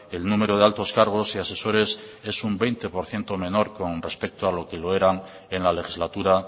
el número de altos cargos y asesores es un veinte por ciento menor con respecto a lo que era en la legislatura